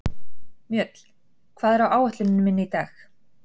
Mjöll, hvað er á áætluninni minni í dag?